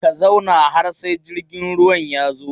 Ka zauna har sai jirgin ruwan ya zo!